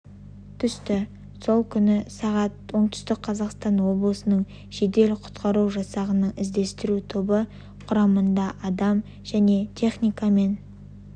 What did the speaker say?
түсті сол күні сағат оңтүстік қазақстан облысының жедел-құтқару жасағының іздестіру тобы құрамында адам және техникамен